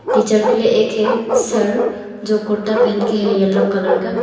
Teacher के लिए एक है सर जो कुर्ता पेहन के है येलो कलर का।